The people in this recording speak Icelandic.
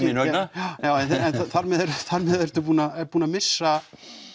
já en þar með ertu búinn að búinn að missa